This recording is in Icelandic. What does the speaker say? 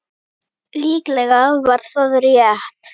Hvernig er með hann Óla?